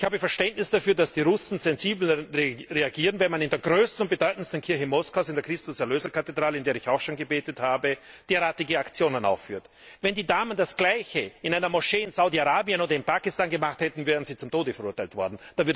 Ich habe Verständnis dafür, dass die Russen sensibel reagieren, wenn man in der größten und bedeutendsten Kirche Moskaus, in der Christus Erlöser Kathedrale, in der ich auch schon gebetet habe, derartige Aktionen aufführt. Wenn die Damen das Gleiche in einer Moschee in Saudi Arabien oder in Pakistan gemacht hätten, wären sie zum Tode verurteilt worden.